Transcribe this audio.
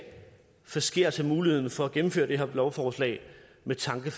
forskertse muligheden for at gennemføre det her lovforslag med tanke